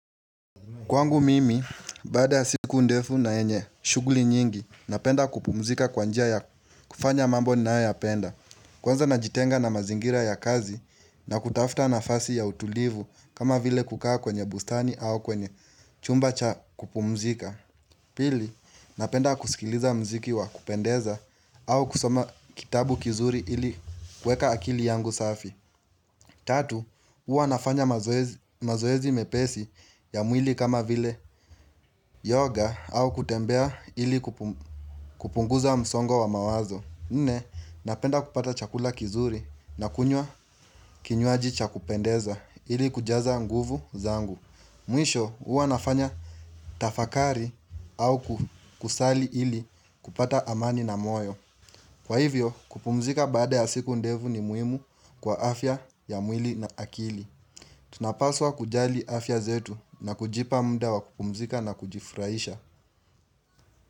Kwangu mimi, baada ya siku ndefu na yenye shughuli nyingi, napenda kupumzika kwa njia ya kufanya mambo ninayo yapenda. Kwanza najitenga na mazingira ya kazi na kutafuta nafasi ya utulivu kama vile kukaa kwenye bustani au kwenye chumba cha kupumzika. Pili, napenda kusikiliza muziki wa kupendeza au kusoma kitabu kizuri ili kuweka akili yangu safi. Tatu, huwa nafanya mazoezi mepesi ya mwili kama vile yoga au kutembea ili kupunguza msongo wa mawazo. Nne, napenda kupata chakula kizuri na kunywa kinywaji cha kupendeza ili kujaza nguvu zangu Mwisho, huwa nafanya tafakari au kusali ili kupata amani na moyo Kwa hivyo, kupumzika baada ya siku ndevu ni muhimu kwa afya ya mwili na akili. Tunapaswa kujali afya zetu na kujipa muda wa kupumzika na kujifurahisha.